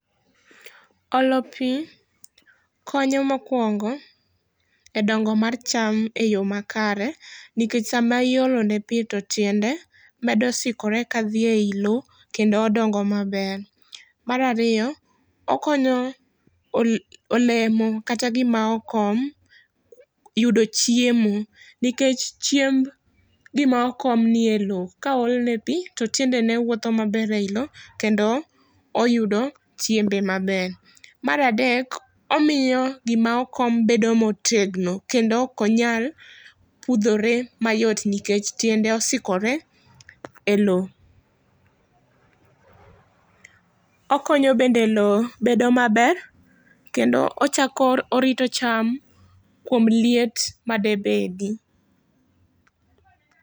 Olo pi, konyo mokwongo, e dongo mar cham e yoo makare, nikech sama iolone pi to tiende medo sikore ka dhi ei lowo kendo odongo maber. Mar ariyo, okonyo olemo kata gima okom, yudo chiemo, nikech chiemb gima okom nie lowo. Ka ool ne pi, to tiendene wuotho maber ei lowo, kendo oyudo chimbe maber. Mar adek, omiyo gima okom bedo motegno, kendo okonyal pudhore mayot, nikech tiende osikore e lowo. Okonyo bende lowo bedo maber, kendo ochako orito cham kuom liet madebedi.